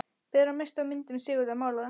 Bera misstu af myndum Sigurðar málara.